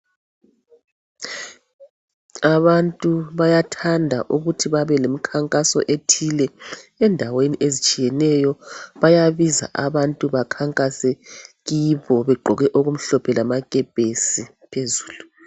Abantu bayathanda ukuthi babe lemikhankaso ethile endaweni ezitshiyeneyo bayabiza abantu bakhankase kibo begqoke okumhlophe lamakepesi phezulu.